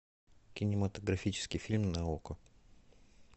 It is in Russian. кинематографический фильм на окко